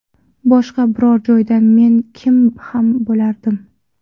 Boshqa biror joyda men kim ham bo‘lardim?